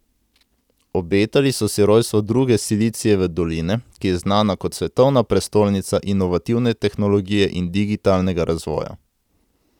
Obetali so si rojstvo druge Silicijeve doline, ki je znana kot svetovna prestolnica inovativne tehnologije in digitalnega razvoja.